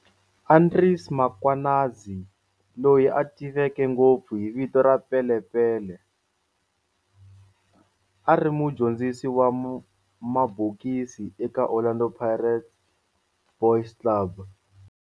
Andries Mkhwanazi, loyi a tiveka ngopfu hi vito ra "Pele Pele", a ri mudyondzisi wa mabokisi eka Orlando Boys Club.